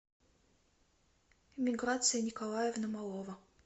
миграция николаевна малова